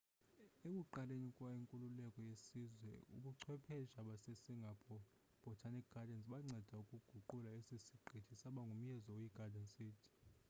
ekuqaleni kwenkululeko yesizwe ubuchwephesha basesingapore botanic gardens banceda ukuguqula esi siqithi saba ngumyezo oyi garden city